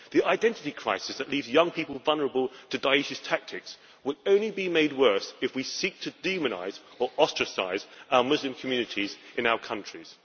The identity crisis that leaves young people vulnerable to the tactics of Da'esh will only be made worse if we seek to demonise or ostracise our Muslim communities in our countries.